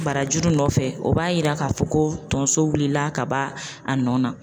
Barajuru nɔfɛ o b'a yira k'a fɔ ko tonso wulila ka b'a nɔ na.